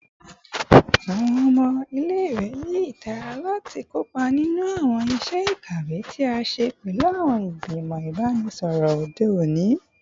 Awọn ọmọ ile-iwe ni itara lati kopa ninu awọn iṣẹ ikawe ti a ṣe pẹlu awọn igbimọ ibanisọrọ ode oni